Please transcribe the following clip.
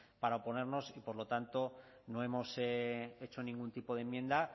para oponernos y por lo tanto no hemos hecho ningún tipo de enmienda